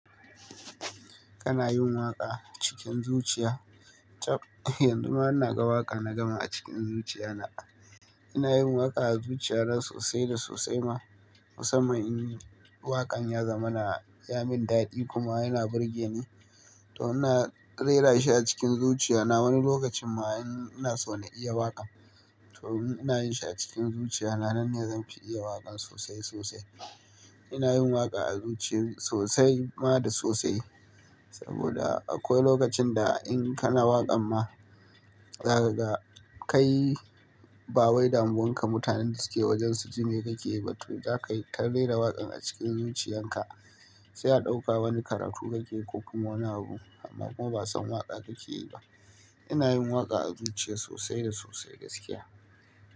Kana yin waƙa cikin zuciya? Chap, yanzu ma ina ga waƙa na gama a cikin zuciya na. Ina yin waƙa a zuciyana sosai da sosai ma. Musamman in waƙan ya zama na ya min daɗi kuma yana burge ni, to ina rera shi a cikin zuciya na. Wani lokacin ma in ina so na iya waƙan to ina yin shi a cikin zuciya na. Nan ne zan fi iya waƙan sosai sosai. Ina yin waƙa a zuciya sosai ma da sosai. Saboda akwai lokacin da in kana waƙan ma, zaka ga kai ba wai damuwan ka mutanen da suke wajen su jime ka ke yi ba to za ka yi ta rera waƙan a cikin zuciyan ka sai a ɗauka wani karatu ka ke ko kuma wani abu amma kuma ba a san waƙa ka ke yi ba. Ina yin waƙa a zuciya sosai da sosai gaskiya.